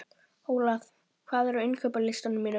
Óla, hvað er á innkaupalistanum mínum?